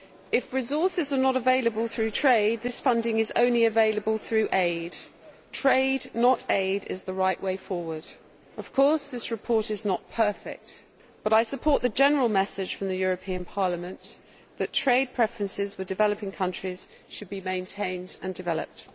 If resources are not available through trade this funding is only available through aid. Trade, not aid, is the right way forward. Of course, this report is not perfect, but I support the general message from Parliament that trade preferences with developing countries should be maintained and developed.